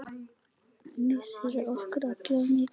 Missir okkar allra er mikill.